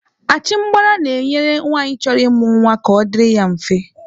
Achịmgbara na-enyere nwanyị chọrọ ịmụ nwa ka ọ dịrị ya mfe.